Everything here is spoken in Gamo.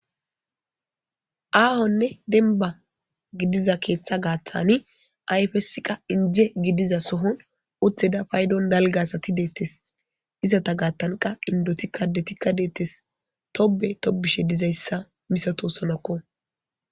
Aahonne denba gidiza keeththa gaathani ayfesika inje gidiza sohon uttida paydon dalga asati deetees. Izeta gaatanka indetika addetika deetees. Tobbe tobbishe dizaysa misatosonako